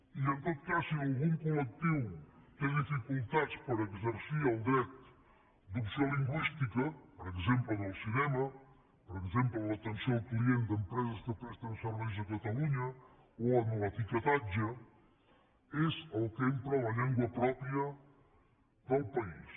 i en tot cas si algun colel dret d’opció lingüística per exemple en el cinema per exemple en l’atenció al client d’empreses que presten serveis a catalunya o en l’etiquetatge és el que empra la llengua pròpia del país